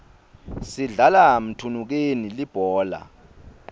sidlala mthunukeni libhola